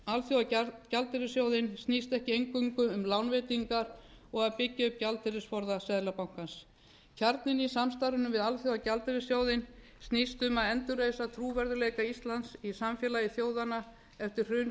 alþjóðagjaldeyrissjóðinn snýst ekki einungis um lánveitingar og að byggja um gjaldeyrisforða seðlabankans kjarninn í samstarfinu við alþjóðagjaldeyrissjóðinn snýst um að endurreisa trúverðugleika íslands í samfélagi þjóðanna eftir hrun